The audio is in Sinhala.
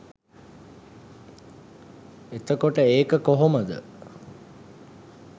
එතකොට ඒක කොහොමද